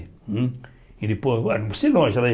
Hum e depois se não, ela